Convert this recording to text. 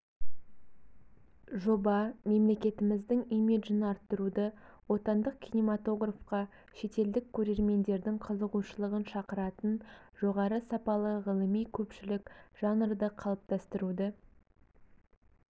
жоба мемлекетіміздің имиджін арттыруды отандық кинематографқа шетелдік көрермендердің қызығушылығын шақыратын жоғары сапалы ғылыми-көпшілік жанрды қалыптастыруды